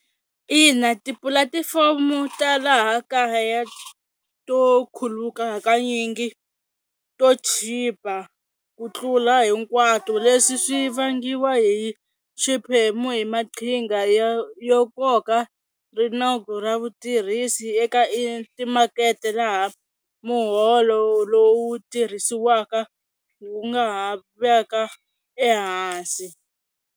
Ina tipulatifomo ta laha kaya to khuluka hakanyingi to chipa ku tlula hinkwato leswi swi vangiwa hi xiphemu hi maqhinga yo yo koka rinoko ra vutirhisi eka emakete laha muholo lowu tirhisiwaka wu nga ha va ka ehansi.